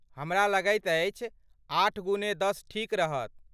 हमरा लगैत अछि आठ गुने दश ठीक रहत।